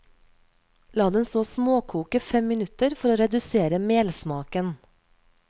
La den så småkoke fem minutter for å redusere melsmaken.